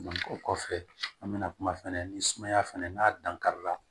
o kɔfɛ an bɛna kuma fɛnɛ ni sumaya fana n'a dankarila